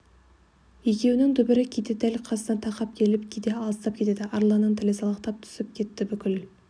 екеуінің дүбірі кейде дәл қасына тақап келіп кейде алыстап кетеді арланның тілі салақтап түсіп кетті бүкіл